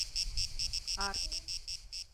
арт